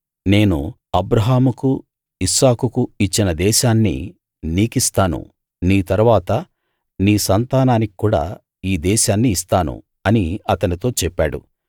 నేను అబ్రాహాముకు ఇస్సాకుకు ఇచ్చిన దేశాన్ని నీకిస్తాను నీ తరువాత నీ సంతానానికి కూడా ఈ దేశాన్ని ఇస్తాను అని అతనితో చెప్పాడు